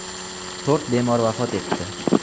To‘rt bemor vafot etdi.